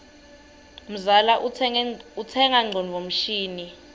mzala utsenga ngcondvo mshini